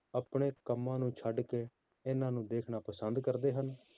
ਆਪਣੇ ਕੰਮਾਂ ਨੂੰ ਛੱਡ ਕੇ ਇਹਨਾਂ ਨੂੰ ਦੇਖਣਾ ਪਸੰਦ ਕਰਦੇ ਹਨ,